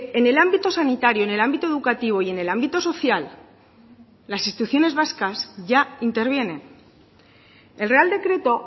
en el ámbito sanitario en el ámbito educativo y en el ámbito social las instituciones vascas ya intervienen el real decreto